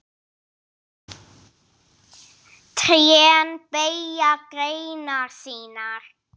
Trén beygja greinar sínar.